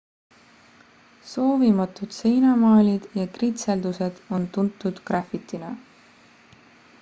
soovimatud seinamaalid ja kritseldused on tuntud grafitina